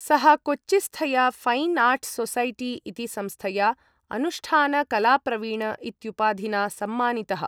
सः कोच्चिस्थया ऴैन् आर्ट् सोसैटी इति संस्थया अनुष्ठानकलाप्रवीण इत्युपाधिना सम्मानितः।